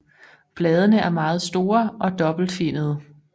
Bladene er meget store og dobbelt finnede